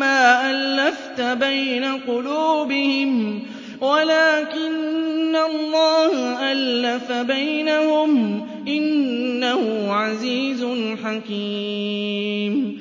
مَّا أَلَّفْتَ بَيْنَ قُلُوبِهِمْ وَلَٰكِنَّ اللَّهَ أَلَّفَ بَيْنَهُمْ ۚ إِنَّهُ عَزِيزٌ حَكِيمٌ